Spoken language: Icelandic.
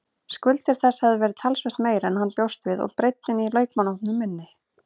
Skuldir þess hefðu verið talsvert meiri en hann bjóst við og breiddin í leikmannahópnum minni.